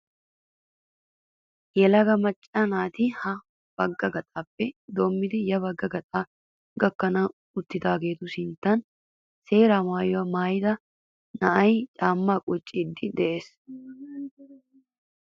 Yelaga macca naati ha bagga gaxaappe doommidi ya bagga gaxaa gakkanawu uttidaageetu sinttan seera maayyuwaa maayyida na''ayi caammaa qucciddi des.